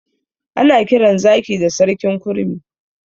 Ana kiran zaki da sarkin kurmi.